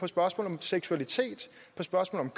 spørgsmål om seksualitet på spørgsmål